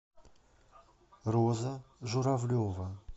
роза журавлева